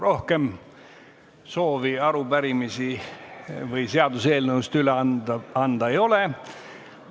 Rohkem soovi arupärimisi või seaduseelnõusid üle anda ei ole.